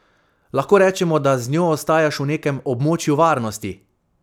Lahko rečemo, da z njo ostajaš v nekem območju varnosti?